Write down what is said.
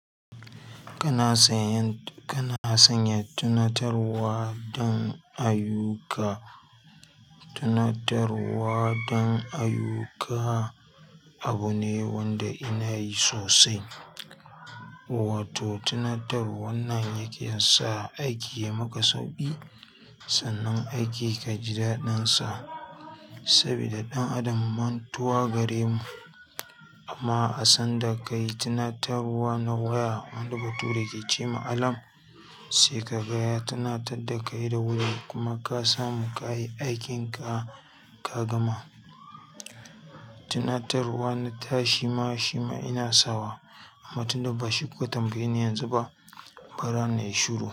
Kana sanya, kana sanya tunatarwa don ayyuka. Tunatarwa don ayuka abu ne wanda ina yi sosai. Wato tunatarwar nan yake sa aiki ya maka sauƙi sannan aiki ka ji daɗinsa sabida ɗan adam mantuwa gare mu. Amma asan da ka yi tunatarwa na waya wanda bature ke ce ma alarm sai ka ga ya tunatar da kai da wuri kuma ka samu ka yi aikinka ka gama. Tunatarwa na ta shima shima ina sawa amma tunda bashi kuka tambayeni yanzu ba, bara na yi shuru.